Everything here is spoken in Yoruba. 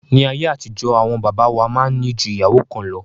Ní ayé àtijọ́, àwọn bàbá wa máa ń ní ju ìyàwó kan lọ